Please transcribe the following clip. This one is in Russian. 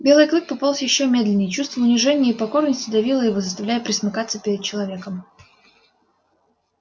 белый клык пополз ещё медленнее чувство унижения и покорности давило его заставляя пресмыкаться перед человеком